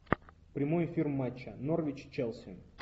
прямой эфир матча норвич челси